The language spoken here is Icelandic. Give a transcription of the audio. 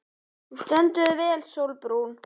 Þú stendur þig vel, Sólbrún!